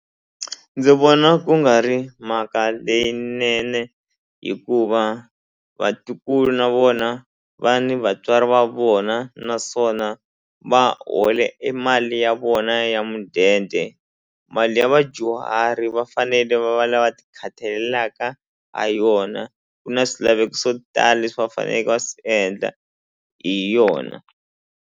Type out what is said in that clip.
Ndzi vona ku nga ri mhaka leyinene hikuva vatukulu na vona va ni vatswari va vona naswona va hola e mali ya vona ya mudende mali ya vadyuhari va fanele va va lava ti khathalelaka ha yona ku na swilaveko swo tala leswi va faneleke va swi endla hi yona.